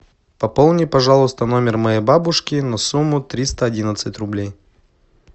пополни пожалуйста номер моей бабушки на сумму триста одиннадцать рублей